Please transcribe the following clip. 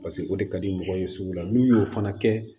Paseke o de ka di mɔgɔ ye sugu la n'u y'o fana kɛ